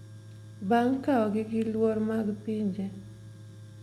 bang’ kaogi gi luor mag pinje.